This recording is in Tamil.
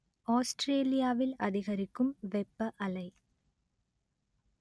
ஆஸ்ட்ரேலியாவில் அதிகரிக்கும் வெப்ப அலை